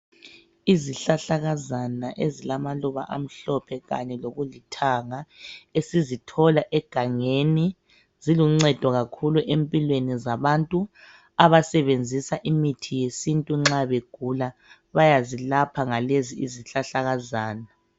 Izihlahlakazana ezilamaluba amhlophe kanye lokulithanga esizithola egangeni ziluncedo kakhulu empilweni zabantu abasebenzisa imithi yesintu nxa begula bayazilapha ngalezi izihlahlakazana.